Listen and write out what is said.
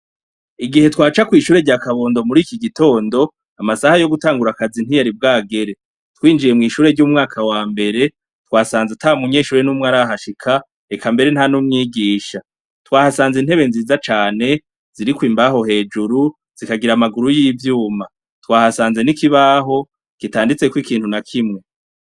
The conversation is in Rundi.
Igihe twaca kw'ishure rya kabondo muriki gitondo, amasaha yo gutangura akazi ntiyari bwagere, twinjiye mw'ishure ry'umwaka wambere twasanze ata munyeshure n'umwe arahashika eka mbere ntan'umwigisha, twahasanze intebe nziza cane ziriko imbaho hejuru zikagira amaguru y'ivyuma, twahasanze n'ikibaho kitanditseko ikintu nakimwe.